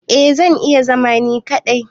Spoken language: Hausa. Eh zan iya zama ni kadai.